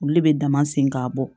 Olu de bɛ dama segin ka bɔ